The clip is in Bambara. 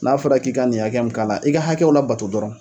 N'a fɔra k'i ka nin hakɛ min k'a la e ka hakɛw labato dɔrɔn